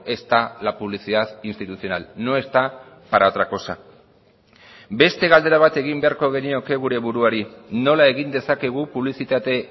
está la publicidad institucional no está para otra cosa beste galdera bat egin beharko genioke gure buruari nola egin dezakegu publizitate